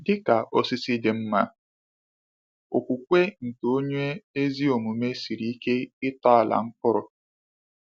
Dị ka osisi dị mma, okwukwe nke onye ezi omume siri ike ịtọala mkpụrụ.